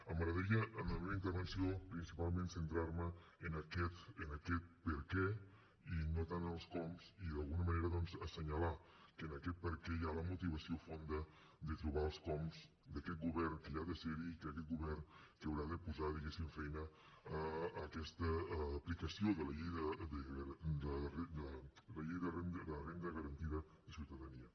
m’agradaria en la meva intervenció principalment centrar me en aquest perquè i no tant en els coms i d’alguna manera doncs assenyalar que en aquest perquè hi ha la motivació fonda de trobar els coms d’aquest govern que ha de ser hi i d’aquest govern que haurà de posar diguéssim feina a aquesta aplicació de la llei de renda garantida de ciutadania